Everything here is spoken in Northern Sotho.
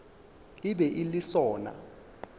e be e le sona